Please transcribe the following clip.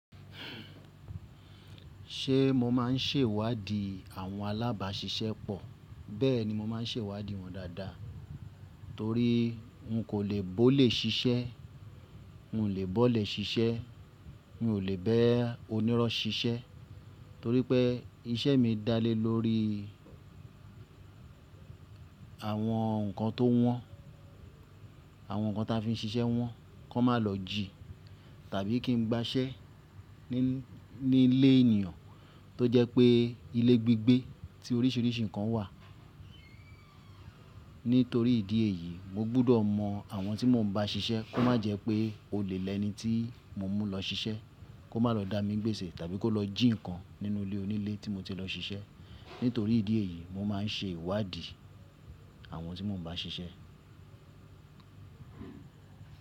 Ṣé mo máa ń ṣèwádìí àwọn alábáṣiṣẹ́ pọ̀? Bẹ́ẹ̀ni, mo máa ń ṣèwádìí wọn dáadáa torí n kò lè bó olé ṣiṣẹ́, n lè bọ́ olẹ ṣiṣẹ́, mi ò lè ba onírọ́ ṣiṣẹ́ torí pé iṣẹ́ mi dálé lórí àwọn nǹkan tó wọ́n, àwọn nǹkan ta fi ń ṣiṣẹ́ wọ́n kó má lọ jì tàbí kí n gbàṣẹ́ nílé ènìyàn tó jẹ́ pé ilé gbigbé tí oríṣiríṣi nǹkan wà. Nítorí ìdí èyí, mo gbọ́dọ̀ mọ àwọn tí mo ń bá ṣiṣẹ́ kó má jẹ́ pé ólè lẹni tí mo mú lọ ṣiṣẹ́, kó má lọ dá mi gbéṣẹ tàbí kó lọ jì nǹkan nínú ilé onílé tí mo ti lọ ṣiṣẹ́. Nítorí ìdí èyí, mo máa ń ṣèwádìí àwọn tí mo ń bá ṣiṣẹ́.